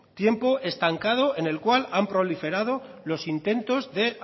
tiempo estancado en el cual han proliferado los intentos de